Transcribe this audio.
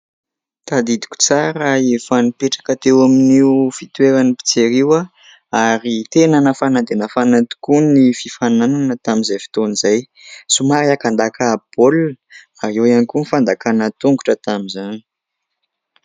Tadidiko tsara, efa nipetraka teo amin'io fitoeran'ny mpijery io aho ary tena nafana dia nafana tokoa ny fifaninanana tamin'izay fotoana izay. Somary aka-ndaka baolina ary eo ihany koa ny fandakana tongotra tamin'izany.